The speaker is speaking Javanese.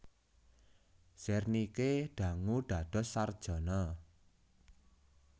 Zernike dangu dados sarjana